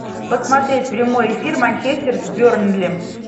посмотреть прямой эфир манчестер с бернли